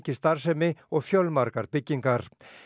starfsemi og fjölmargar byggingar